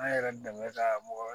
An yɛrɛ dɛmɛ ka mɔgɔ wɛrɛ